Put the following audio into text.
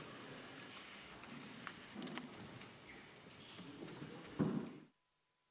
Istungi lõpp kell 16.30.